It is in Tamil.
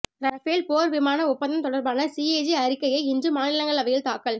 ரஃபேல் போர் விமான ஒப்பந்தம் தொடர்பான சிஏஜி அறிக்கையை இன்று மாநிலங்களவையில் தாக்கல்